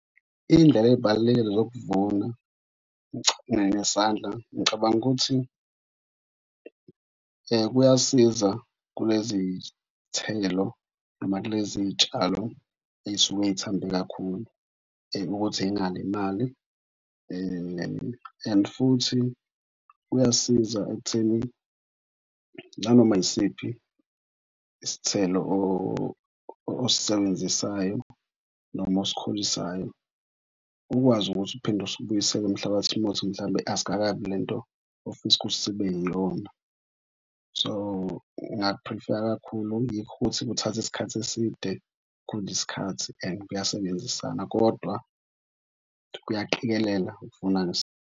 Indlela ey'balulekile zokuvuna ngesandla. Ngicabanga ukuthi kuyasiza kulezi iy'thelo noma kulezi iy'tshalo ey'suke y'thambe kakhulu ukuthi zingalimali and futhi kuyasiza ekutheni nanoma yisiphi isithelo osisebenzisayo noma osikhulisayo ukwazi ukuthi uphinde usibuyisele emhlabathini uma ukuthi mhlampe asikakabi lento ofisa ukuthi sibe iyona. So ngingakuphrifeya kakhulu. Yikho ukuthi kuthatha isikhathi eside, kudla isikhathi and kuyasebenzisana kodwa kuyaqikelela ukuvuna .